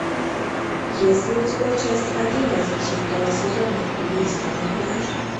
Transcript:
есть ли у тебя часть одиннадцать шестого сезона убийство на пляже